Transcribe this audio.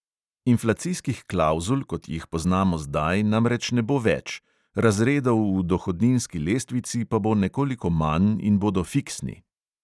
Inflacijskih klavzul, kot jih poznamo zdaj, namreč ne bo več, razredov v dohodninski lestvici pa bo nekoliko manj in bodo fiksni.